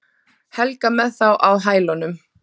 Helga með þá á hælunum.